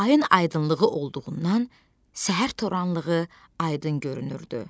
Ayın aydınlığı olduğundan səhər toranlığı aydın görünürdü.